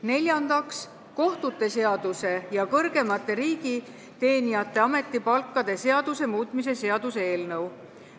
Neljandaks, kohtute seaduse ja kõrgemate riigiteenijate ametipalkade seaduse muutmise seaduse eelnõu.